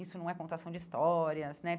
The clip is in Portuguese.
Isso não é contação de histórias né.